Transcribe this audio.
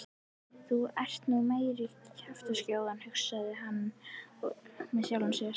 Þú ert nú meiri kjaftaskjóðan hugsaði hann með sjálfum sér.